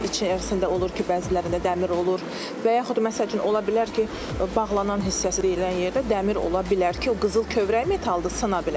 Üçə ərzində olur ki, bəzilərində dəmir olur, və yaxud məsəl üçün ola bilər ki, bağlanan hissəsi deyilən yerdə dəmir ola bilər ki, o qızıl kövrək metaldır, sına bilər.